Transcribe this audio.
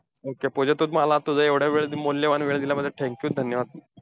Okay Pooja तू मला तुझा एवढा वेळ मौल्यवान वेळ दिल्याबद्दल, thank you, धन्यवाद!